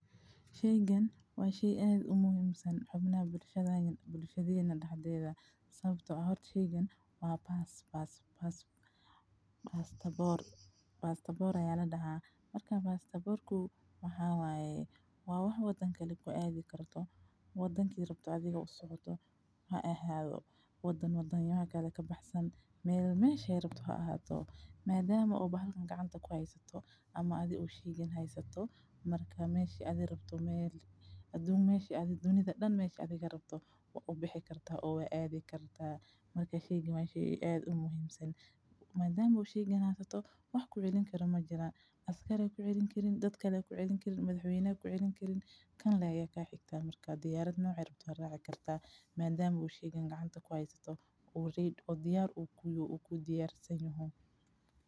Sheygan waa shey aad u muuhiimsan xubnaha bulshada iyo bulshadiien dhaxdeeda sabto. Ahad sheegen waa baastoboor. baastoboor ayaa la dhahaa. Markaan baastoboorku maxaa waaye, waa wax waddan kale ba ku aadi karto. Waddanki rabto adiga u socoto ha ahaado wadan wadan, iyaga kaa ka baxsan meel. Meesha ay rabto ha ahaato maadaama uu bahalkan gacanta ku haysto ama adigu sheegeen haysto. Markaa meeshii aad rabto meel aduunka meeshii aad dunida dhan meeshii adiga rabto waa u bixi kartaa oow ay aadi kartaa. Marka sheegi ma ayshe u aad u muuhiimsan maadaama u sheeganaystoo wax ku celin karin ma jira. Askari ku celin karin, dadka la ku celin karin, madaxwaynihii ku celin karin kan leeyah kaa xigtaa. Markaa diyaar nuuc raba raaci kartaa maadaama u sheego gacanta ku haysto uu rid oo diyaar u ku yaoo uu ku diyaarsanyahay.